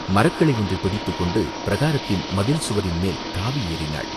மரக்கிளை ஒன்றைப் பிடித்துக் கொண்டு பிரகாரத்தின் மதில் சுவரின் மேல் தாவி ஏறினாள்.